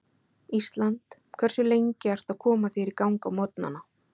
Ísland Hversu lengi ertu að koma þér í gang á morgnanna?